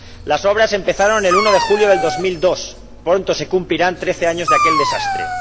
Las obras empezaron el 1 de julio de 2002, pronto se cumplirán trece años de aquel desastre.